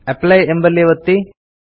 apply ಎಂಬಲ್ಲಿ ಒತ್ತಿ